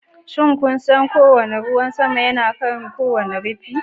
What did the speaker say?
Shin kun san cewa lokacin da ruwan sama ke kan kowane rufin?